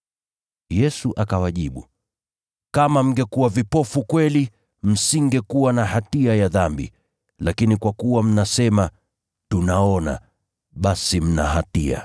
Yesu akawajibu, “Kama mngekuwa vipofu kweli, msingekuwa na hatia ya dhambi, lakini kwa kuwa mnasema, ‘Tunaona,’ basi mna hatia.